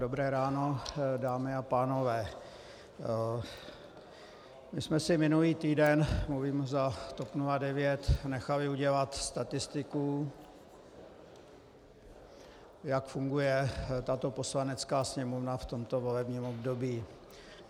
Dobré ráno, dámy a pánové, my jsme si minulý týden - mluvím za TOP 09 - nechali udělat statistiku, jak funguje tato Poslanecká sněmovna v tomto volebním období.